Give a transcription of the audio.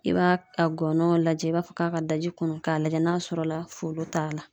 I b'a a gɔnɔn lajɛ, i b'a fɔ k'a ka daji kunnun k'a lajɛ n'a sɔrɔ la folo t'a la.